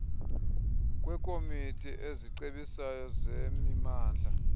kwekomiti ezicebisayo zemimandla